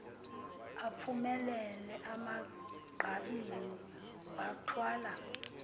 ephumelele emagqabini wathwala